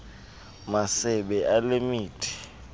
masebe ale mithi